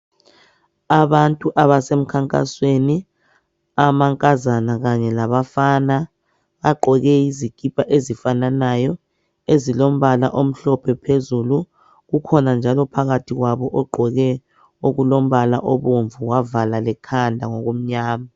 Abantu abasemkhankasweni amantombazana kanye labafana baqoke izikipa ezifananayo ezilombala omhlophe phezulu, kukhona njalo phakathi kwabo ogqoke okulombala obomvu wavala lekhanda ngokumnyama.